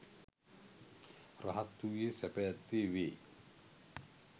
රහත් වූයේ සැප ඇත්තේ වේ.